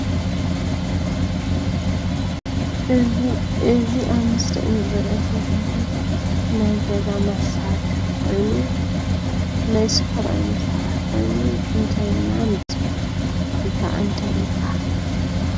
እዚ ኣብ ምስሊ እንርእዮ ዘለና ናይ ገዛ መሳርሒ ኮይኑ ናይ ስፖራይ መሳርሒ ኮይኑ እንታይ ኢልና ንፅውዖ ወይከዓ እንታይ ይባሃል?